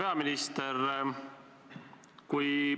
Hea peaminister!